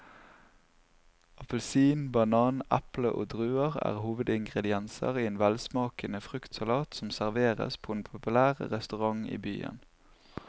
Appelsin, banan, eple og druer er hovedingredienser i en velsmakende fruktsalat som serveres på en populær restaurant i byen.